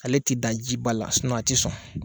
Ale te dan jiba la sinɔn a tɛ sɔn